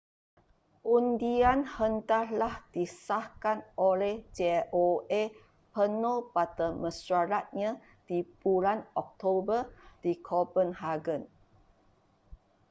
undian hendaklah disahkan oleh joa penuh pada mesyuaratnya di bulan oktober di copenhagen